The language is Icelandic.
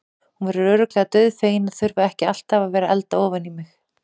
Hún verður örugglega dauðfegin að þurfa ekki alltaf að vera að elda ofan í mig.